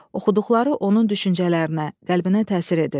Oxuduqları onun düşüncələrinə, qəlbinə təsir edir.